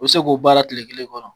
U bɛ se k'o baara tile kelen kɔnɔ.